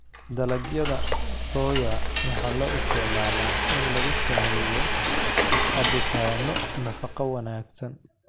Dalagyada soya waxaa loo isticmaalaa in lagu sameeyo cabitaanno nafaqo wanaagsan.